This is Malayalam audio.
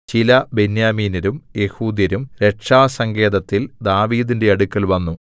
ചില ബെന്യാമീന്യരും യെഹൂദ്യരും രക്ഷാസങ്കേതത്തിൽ ദാവീദിന്റെ അടുക്കൽ വന്നു